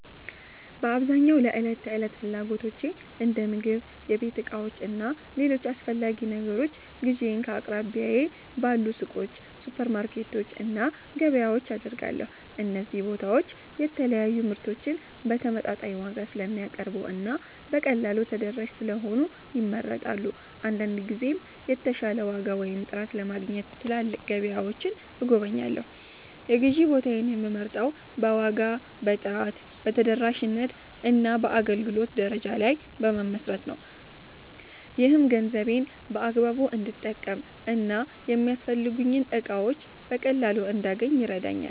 በአብዛኛው ለዕለት ተዕለት ፍላጎቶቼ እንደ ምግብ፣ የቤት ዕቃዎች እና ሌሎች አስፈላጊ ነገሮች ግዢዬን ከአቅራቢያዬ ባሉ ሱቆች፣ ሱፐርማርኬቶች እና ገበያዎች አደርጋለሁ። እነዚህ ቦታዎች የተለያዩ ምርቶችን በተመጣጣኝ ዋጋ ስለሚያቀርቡ እና በቀላሉ ተደራሽ ስለሆኑ ይመረጣሉ። አንዳንድ ጊዜም የተሻለ ዋጋ ወይም ጥራት ለማግኘት ትላልቅ ገበያዎችን እጎበኛለሁ። የግዢ ቦታዬን የምመርጠው በዋጋ፣ በጥራት፣ በተደራሽነት እና በአገልግሎት ደረጃ ላይ በመመስረት ነው። ይህም ገንዘቤን በአግባቡ እንድጠቀም እና የሚያስፈልጉኝን እቃዎች በቀላሉ እንዳገኝ ይረዳኛል።